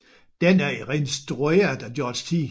Den er instrueret af George T